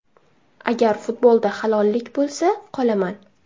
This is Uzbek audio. Agar futbolda halollik bo‘lsa, qolaman.